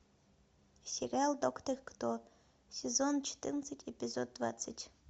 сериал доктор кто сезон четырнадцать эпизод двадцать